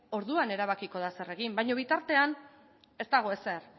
orduan erabakiko da zer egin baino bitartean ez dago ezer